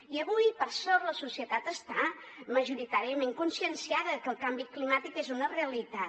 i avui per sort la societat està majoritàriament conscienciada que el canvi climàtic és una realitat